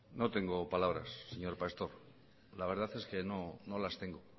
no tengo palabras señor pastor la verdad es que no las tengo